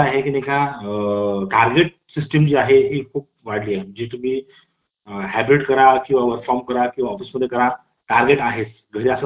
त्यात आता बघितलं तर हे वाढते कर्मचाऱ्यांचा अलगीकरण आहे दीर्घकाळा पासून कर्मचारी आपल्या सहकार्यां पासून दूर राहिले